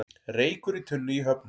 Reykur í tunnu í Höfnum